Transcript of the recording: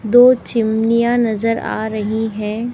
दो चिमनियाँ नज़र आ रही हैं।